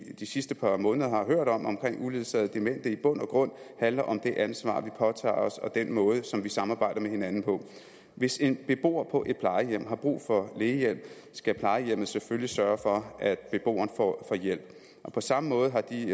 de sidste par måneder har hørt om uledsagede demente i bund og grund handler om det ansvar vi påtager os og den måde som vi samarbejder med hinanden på hvis en beboer på et plejehjem har brug for lægehjælp skal plejehjemmet selvfølgelig sørge for at beboeren får hjælp på samme måde har de